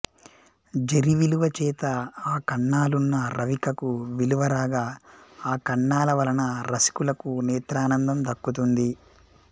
జరీ విలువ చేత ఆ కన్నాలున్న రవికకు విలువ రాగా ఆ కన్నాల వలన రసికులకు నేత్రానందం దక్కుతుంది